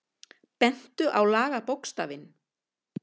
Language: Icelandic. Bentu á lagabókstafinn